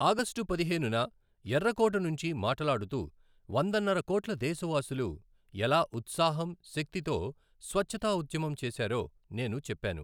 August పదిహేనున ఎర్ర కోట నుంచి మాటలాడుతూ వందన్నర కోట్ల దేశవాసులు ఎలా ఉత్సాహం, శక్తితో స్వచ్ఛతా ఉద్యమం చేశారో నేను చెప్పాను.